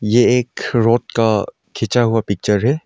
ये एक रोड का खींचा हुआ पिक्चर है।